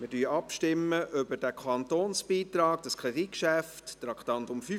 Wir stimmen ab über den Kantonsbeitrag, das Kreditgeschäft unter Traktandum 35.